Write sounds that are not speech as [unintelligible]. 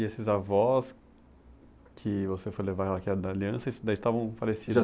E esses avós que você foi levar [unintelligible] aliança, esses dois estavam falecidos?